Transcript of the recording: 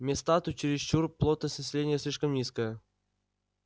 места тут чересчур плотность населения слишком низкая